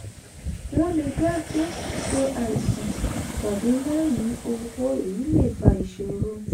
wọ́n le dá gbé ṣe àìsàn tàbí má ní owó èyí le fa ìṣòro.